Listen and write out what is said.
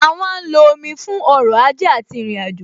A má ń lo omi fún ọrọ̀ ajé àti ìrìnàjò,